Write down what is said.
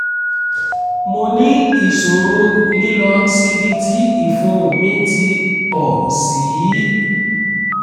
mo ní ìṣòro lílọ síbi tí ìfun mi ti pọ̀ sí i